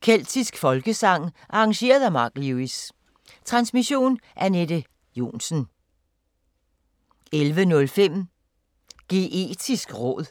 Keltisk folkesang. Arr.: Mark Lewis. Transmission: Anette Johnsen. 11:05: Geetisk råd